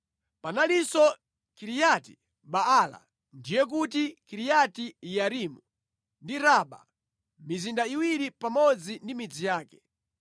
Panalinso Kiriati Baala (ndiye kuti Kiriati Yearimu) ndi Raba; mizinda iwiri pamodzi ndi midzi yake.